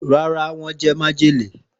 Ràrá, wọn jẹ majele.